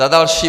Za další.